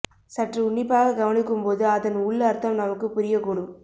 சற்று உன்னிப்பாக கவனிக்கும் போது அதன் உள் அர்த்தம் நமக்கு புரிய கூடும்